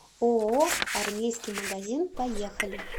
ооо армейский магазин поехали